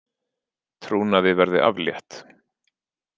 Trúnaði verði aflétt